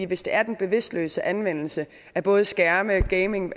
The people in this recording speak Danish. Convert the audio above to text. hvis det er den bevidstløse anvendelse af både skærme og gaming